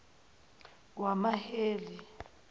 wamaheli